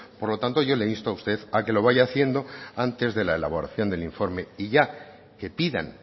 por lo tanto yo le insto a usted a lo que vaya haciendo antes de la elaboración del informe y ya que pidan